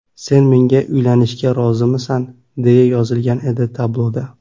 Sen menga uylanishga rozimisan?”, deya yozilgan edi tabloda.